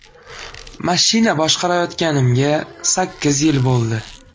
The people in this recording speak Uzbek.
Mashina boshqarayotganimga sakkiz yil bo‘ldi.